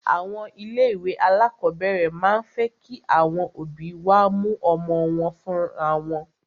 Àwọn ilé ìwé alákọ̀berẹ̀ máà ń fẹ́ kí àwọn òbí wá mú ọmọ wọn fúnra wọn.